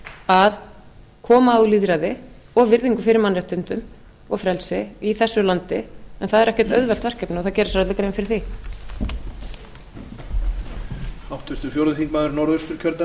að koma á lýðræði og virðingu fyrir mannréttindum og frelsi í þessu landi það er ekkert auðvelt verkefni og það gera sér allir grein fyrir því